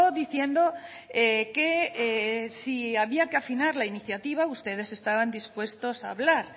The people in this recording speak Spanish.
diciendo que si había que afinar la iniciativa ustedes estaban dispuestos a hablar